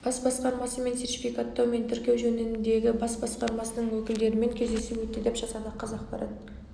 бас басқармасы мен сертификаттау мен тіркеу жөніндегі бас басқармасының өкілдерімен кездесу өтті деп жазады қазақпарат